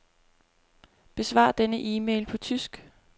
Besvar denne e-mail på tysk.